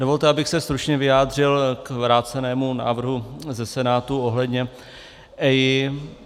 Dovolte, abych se stručně vyjádřil k vrácenému návrhu ze Senátu ohledně EIA.